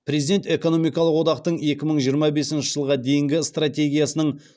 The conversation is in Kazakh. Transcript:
президент экономикалық одақтың екі мың жиырма бесінші жылға дейінгі стратегиясының